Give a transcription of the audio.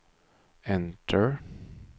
enter